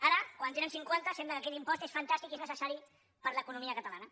ara quan en té cinquanta sembla que aquest impost és fantàstic i és necessari per a l’economia catalana